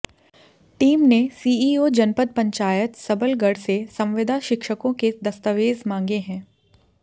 team ने CEO जनपद पंचायत सबलगढ़ से संविदा शिक्षकों के दस्तावेज मांगे हैं